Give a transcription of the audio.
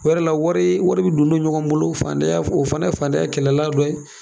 O yɛrɛ la wari wari bɛ don don ɲɔgɔn bolo fandanya o fana fandanya kɛlɛlan dɔ ye.